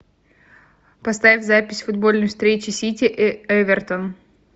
поставь запись футбольной встречи сити и эвертон